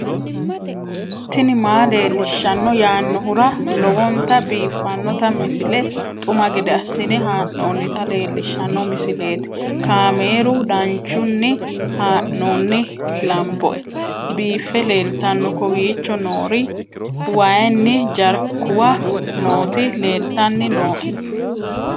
tini maa leelishshanno yaannohura lowonta biiffanota misile xuma gede assine haa'noonnita leellishshanno misileeti kaameru danchunni haa'noonni lamboe biiffe leeeltanno kowiicho noori wayinna jarkuwa nooti leltanni nooe